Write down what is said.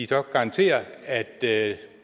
så garantere at